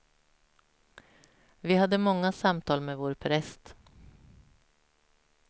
Vi hade många samtal med vår präst.